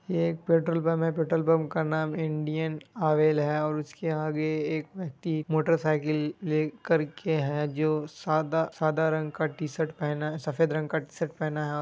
ये एक petrol pump है पेट्रोल पंप का नाम इंडियन आवेल है और उसके आगे एक व्यक्ति मोटर साइकिल ले करके है जो सादा सादा रंग का टी-शर्ट पहना है सफेद रंग का टी शर्ट पहना है ओ --